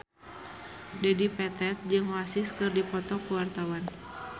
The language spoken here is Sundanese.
Dedi Petet jeung Oasis keur dipoto ku wartawan